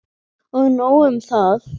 Og nóg um það.